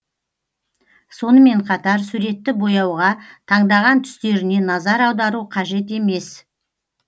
сонымен қатар суретті бояуға таңдаған түстеріне назар аудару қажет емес